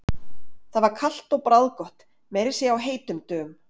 Það var kalt og bragðgott, meira að segja á heitum dögum.